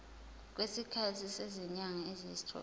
kwesikhathi sezinyanga eziyisithupha